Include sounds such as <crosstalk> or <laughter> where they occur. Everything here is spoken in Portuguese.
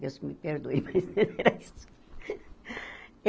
Deus me perdoe, mas <laughs> era isso.